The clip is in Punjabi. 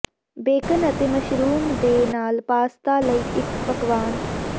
ਬੇਕਨ ਅਤੇ ਮਸ਼ਰੂਮ ਦੇ ਨਾਲ ਪਾਸਤਾ ਲਈ ਇੱਕ ਪਕਵਾਨ